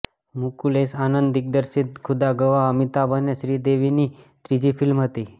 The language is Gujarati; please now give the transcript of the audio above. મુકુલ એસ આનંદ દિગ્દર્શિત ખુદા ગવાહ અમિતાભ અને શ્રીદેવીની ત્રીજી ફિલ્મ હતી